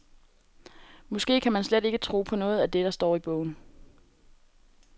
Måske skal man slet ikke tro på noget af det, der står i bogen.